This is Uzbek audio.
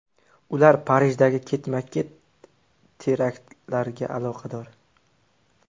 Ular Parijdagi ketma-ket teraktlarga aloqador.